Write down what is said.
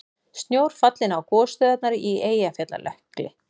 Snjór fallinn á gosstöðvarnar í Eyjafjallajökli